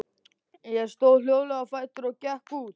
Ég stóð hljóðlega á fætur og gekk út.